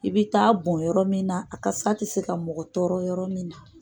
I bɛ taa bon yɔrɔ min na a kasa tɛ se ka mɔgɔ tɔrɔ yɔrɔ min na